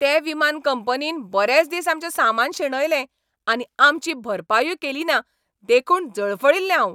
ते विमान कंपनीन बरेच दिस आमचें सामान शेणयलें आनी आमची भरपायूय केलीना देखून जळफळिल्लें हांव.